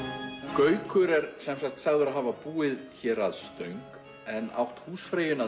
gaukur er sem sagt sagður hafa búið hér að Stöng en átt húsfreyjuna